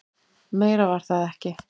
Meira var það ekki.